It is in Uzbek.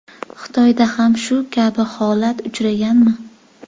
Xitoyda ham shu kabi holat uchraganmi?